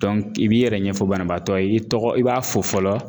i b'i yɛrɛ ɲɛfɔ banabaatɔ ye i tɔgɔ i b'a fo fɔlɔ